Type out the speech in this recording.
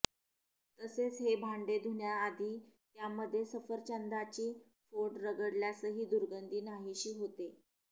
तसेच हे भांडे धुण्याआधी त्यामध्ये सफरचंदाची फोड रगडल्यासही दुर्गंधी नाहीशी होते